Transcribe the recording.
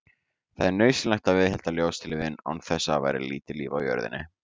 Það er nauðsynlegt að viðhalda ljóstillífun, án þess væri lítið líf á jörðinni.